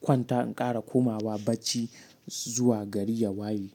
Kwanta in ƙara komawa bacci. Zuwa gari ya waye.